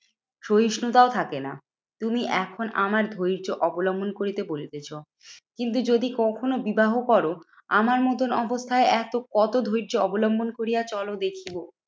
সহিষ্ণুতাও থাকে না। তুমি এখন আমার ধৈর্য্য অবলম্বন করিতে বলিতেছ। কিন্তু যদি কখনো বিবাহ করো, আমার মতন অবস্থায় এত কত ধৈর্য্য অবলম্বন করিয়া চলো দেখিব?